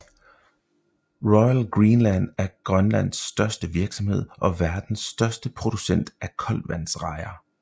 Royal Greenland er Grønlands største virksomhed og verdens største producent af koldtvandsrejer